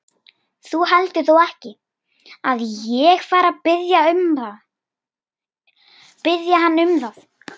Þú heldur þó ekki, að ég fari að biðja hann um það?